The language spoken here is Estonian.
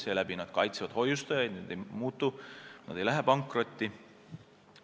Seeläbi nad kaitsevad hoiustajaid, kes teavad, et pangad ei muutu, ei lähe pankrotti.